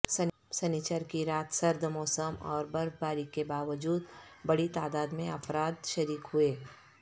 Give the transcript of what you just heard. سنیچر کی رات سرد موسم اور برفباری کے باوجود بڑی تعداد میں افراد شریک ہوئے